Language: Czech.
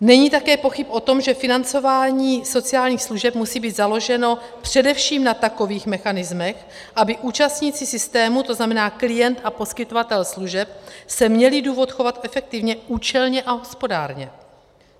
Není také pochyb o tom, že financování sociálních služeb musí být založeno především na takových mechanismech, aby účastníci systému, to znamená klient a poskytovatel služeb, se měli důvod chovat efektivně, účelně a hospodárně.